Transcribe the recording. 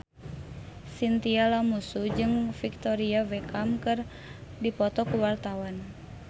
Chintya Lamusu jeung Victoria Beckham keur dipoto ku wartawan